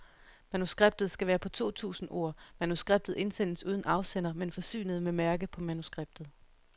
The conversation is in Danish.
Manuskriptet skal være på to tusind ord. Manuskriptet indsendes uden afsender, men forsynet med mærke på manuskriptet.